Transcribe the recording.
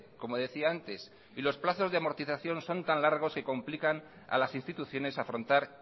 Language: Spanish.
como decía antes y los plazos de amortización son tan largos que complican a las instituciones a afrontar